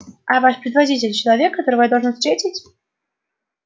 а ваш предводитель человек которого я должен встретить